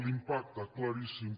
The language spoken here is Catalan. l’impacte claríssim